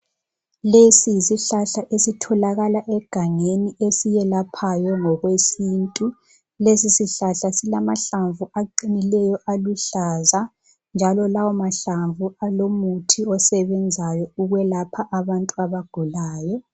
Lesi yisihlahla esitholakala egangeni esiyelaphayo ngokwesintu .Lesisihlahla silamahlamvu aqinileyo aluhlaza njalo lawomahlamvu alomuthi osebenzayo ukwelapha abantu abagulayo.